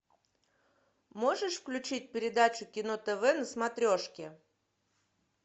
можешь включить передачу кино тв на смотрешке